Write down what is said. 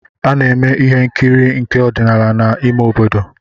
A na-eme ihe nkiri nke ọdịnala n’ime obodo